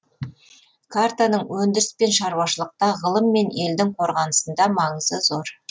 картаның өндіріс пен шаруашылықта ғылым мен елдің қорғанысында маңызы зор